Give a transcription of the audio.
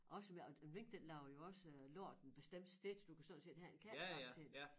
Og så med og en mink den laver jo også øh lort en bestemt sted du kan sådan set have en kattebakke til den